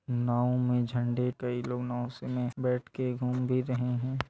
नाव में झंडे कई लोग नाव से में बैठ के घूम भी रहे है।